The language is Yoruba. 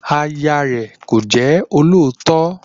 Aya rẹ̀ kò jẹ́ olóòótọ́